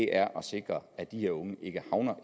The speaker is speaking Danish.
er at sikre at de her unge ikke havner